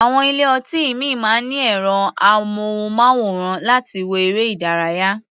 Àwọn ilé-ọtí ìmíì máa ń ní ẹ̀rọ-amóhùnmáwòrán láti wo eré-ìdárayá.